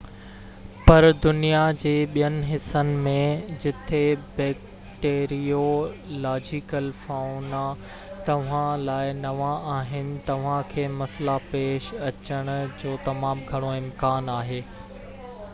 پر دنيا جي ٻين حصن ۾ جتي بيڪٽيريو لاجيڪل فائونا توهان لاءِ نوان آهن توهان کي مسئلا پيش اچڻ جو تمام گهڻو امڪان آهي